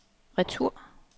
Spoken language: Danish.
retur